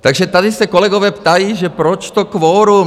Takže tady se kolegové ptají, že proč to kvorum?